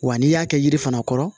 Wa n'i y'a kɛ yiri fana kɔrɔ